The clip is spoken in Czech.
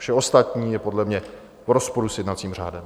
Vše ostatní je podle mě v rozporu s jednacím řádem.